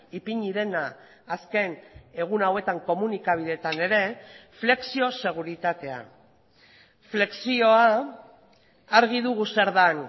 ipini dena azken egun hauetan komunikabideetan ere flexioseguritatea flexioa argi dugu zer den